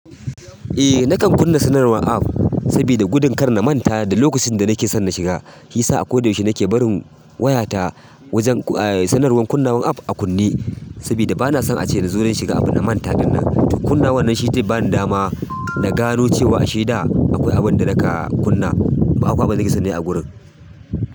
Eh nakan kunna sanarwar app, saboda gudun kar na manta da lokacin da nake son na shiga, shi yasa a koda yaushe nake barin wayata wajen sanarwar kunnawan app a kunne, sabida bana son a ce na zo zan shiga app na manta ɗin nan. To kunnawan nan shi zai bani dama na gano cewa ashe da akwai abun da na ka kunna, ba akwai abun da nake son nayi a gurin.